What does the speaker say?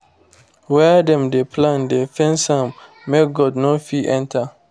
where dem dey plant dey fence am make goat no fit enter